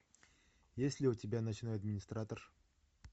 есть ли у тебя ночной администратор